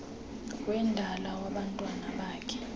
wendalo wabantwana bakhe